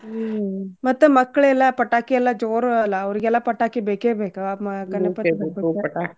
ಹ್ಮ್ ಮತ್ತ್ ಮಕ್ಕಳೇಲ್ಲ ಪಟಾಕಿ ಎಲ್ಲಾ ಜೋರ್ ಅಲ್ಲ ಅವರ್ಗೆಲ್ಲ ಪಟಾಕಿ ಬೇಕೆ ಬೇಕು ಅಹ್ ಮ~ ಗಣಪತಿ ಹಬ್ಬಕ್ಕ .